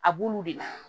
A b'olu de la